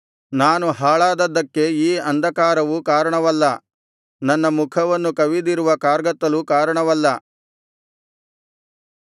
ನಾನು ಹಾಳಾದದ್ದಕ್ಕೆ ಈ ಅಂಧಕಾರವು ಕಾರಣವಲ್ಲ ನನ್ನ ಮುಖವನ್ನು ಕವಿದಿರುವ ಕಾರ್ಗತ್ತಲು ಕಾರಣವಲ್ಲ